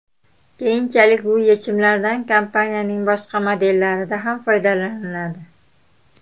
Keyinchalik bu yechimlardan kompaniyaning boshqa modellarida ham foydalaniladi.